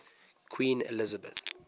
queen elizabeth